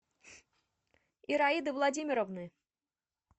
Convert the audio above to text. ираиды владимировны